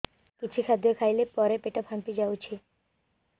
କିଛି ଖାଦ୍ୟ ଖାଇଲା ପରେ ପେଟ ଫାମ୍ପି ଯାଉଛି